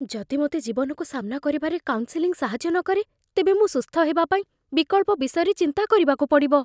ଯଦି ମୋତେ ଜୀବନକୁ ସାମ୍ନା କରିବାରେ କାଉନ୍ସେଲିଂ ସାହାଯ୍ୟ ନକରେ, ତେବେ ମୁଁ ସୁସ୍ଥ ହେବା ପାଇଁ ବିକଳ୍ପ ବିଷୟରେ ଚିନ୍ତା କରିବାକୁ ପଡ଼ିବ।